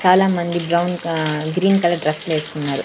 చాలామంది బ్రౌన్ అహ్ green colour dress లేసుకున్నారు.